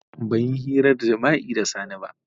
A'a ban yi hirar jima'i da Sani ba.